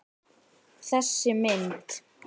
Þessi mynd